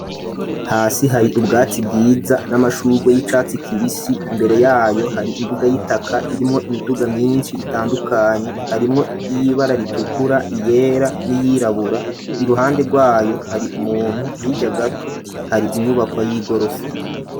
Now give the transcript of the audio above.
Hasi hari ubwatsi bwiza n'amashurwe y'icatsi kibisi, imbere yayo hari imbuga y'itaka irimwo imiduga myinshi itandukanye, harimwo ibara ritukura, iyera n'iyirabura, iruhande rwayo hari umuntu, hijya gato hari inyubakwa y'igorofa.